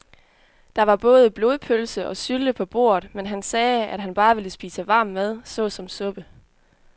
Der var både blodpølse og sylte på bordet, men han sagde, at han bare ville spise varm mad såsom suppe.